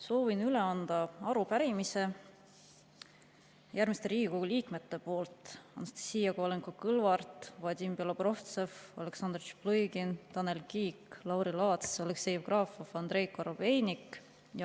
Soovin üle anda arupärimise järgmiste Riigikogu liikmete poolt: Anastassia Kovalenko-Kõlvart, Vadim Belobrovtsev, Aleksandr Tšaplõgin, Tanel Kiik, Lauri Laats, Aleksei Jevgrafov, Andrei Korobeinik.